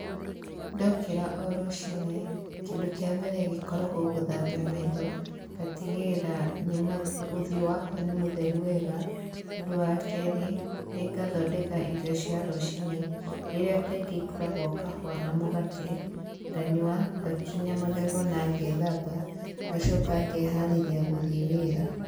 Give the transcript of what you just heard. Ndokĩra o rũciinĩ, kĩndũ kĩa mbere gĩkoragwo gũthambia maitho, ngatĩgĩrĩra nĩ ma ,ũthiũ wakwa nĩ mũtheru wega, ũndũ wa kerĩ nĩ ngathondeka irio cia rũcinĩ, iria kaingĩ ikoragwo kahũa na mugate, nganyua, ngakinya magego na ngethamba, ngacoka ngeharĩria gũthiĩ wĩra.